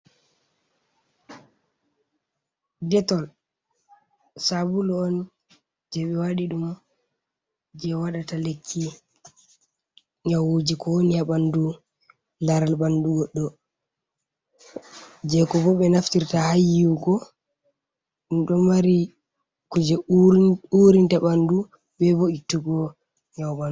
Detol, sabulu on je ɓe waɗi ɗum je waɗata lekki nyawuji ko woni a ɓandu laral ɓandu goɗɗo. je ko bo ɓe naftirta ha yiwugo ɗo mari ku je urinta ɓandu, be bo ittugo nyawu ha ɓandu.